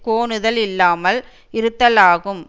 கோணுதல் இல்லாமல் இருத்தலாகும்